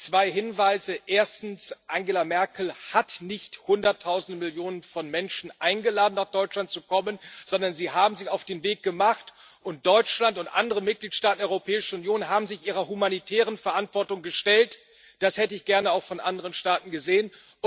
Zwei Hinweise Erstens Angela Merkel hat nicht Hunderttausende, Millionen von Menschen eingeladen, nach Deutschland zu kommen, sondern sie haben sich auf den Weg gemacht, und Deutschland und andere Mitgliedstaaten der Europäischen Union haben sich ihrer humanitären Verantwortung gestellt. Das hätte ich gerne auch von anderen Staaten gesehen.